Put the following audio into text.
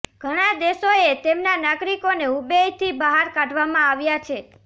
ઘણા દેશોએ તેમના નાગરિકોને હુબેઇથી બહાર કાઢવામાં આવ્યા છે